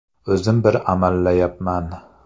O‘zim bir amallayapman”.